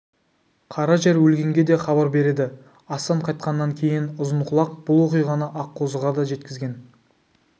қара жер өлгенге де хабар береді астан қайтқаннан кейін ұзынқұлақ бұл оқиғаны аққозыға да жеткізген